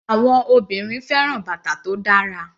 Àwọn obìnrin fẹ́ràn bàtà tó dára.